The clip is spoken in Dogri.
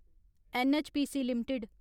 NHPC limited